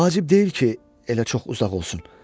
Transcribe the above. Vacib deyil ki, elə çox uzaq olsun.